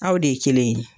Aw de ye kelen ye